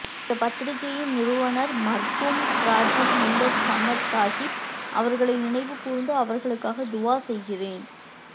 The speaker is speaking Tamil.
இந்தப் பத்திரிகையின் நிறுவனர் மர்ஹூம் சிராஜுல் மில்லத் சமது சாஹிப் அவர்களை நினைவு கூர்ந்து அவர்களுக்காக துஆ செய்கிறேன்